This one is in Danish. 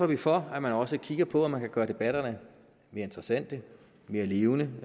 vi for at man også kigger på om man kan gøre debatterne mere interessante mere levende